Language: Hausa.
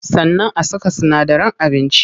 Sannan a saka sinadaran abinci.